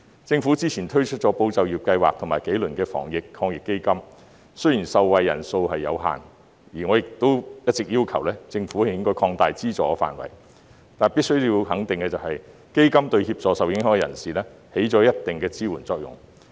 政府之前推出了"保就業"計劃和幾輪防疫抗疫基金，雖然受惠人數有限，我亦一直要求政府擴大資助範圍，但必須要肯定的是，基金對受影響人士起到一定支援作用。